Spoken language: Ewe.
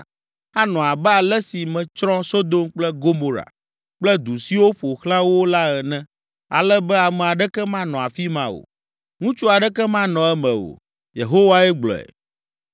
Anɔ abe ale si metsrɔ̃ Sodom kple Gomora kple du siwo ƒo xlã wo la ene ale be ame aɖeke manɔ afi ma o, ŋutsu aɖeke manɔ eme o.” Yehowae gblɔe.